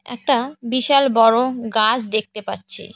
একটা বিশাল বড় গাছ দেখতে পাচ্ছি।